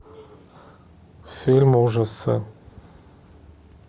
фильм ужасы